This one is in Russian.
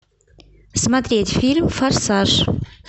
смотреть фильм форсаж